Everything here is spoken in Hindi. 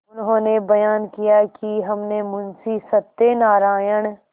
उन्होंने बयान किया कि हमने मुंशी सत्यनारायण